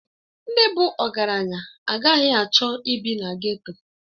Ndị bụ ọgaranya agaghị achọ ịbi na geto.